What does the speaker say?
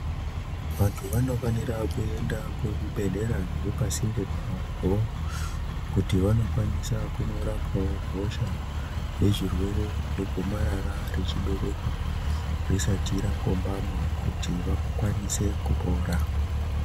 Vantu vanofanire kuenda kuzvibhedhlera zviripasinde navo, kuti vanokwanisa kunorapwawo hosha nezvirwere zvegomarara rechibereko risati rakombama, kuti vakwanise kupora.